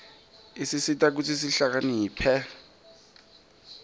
isisita kutsi sihlakaniphe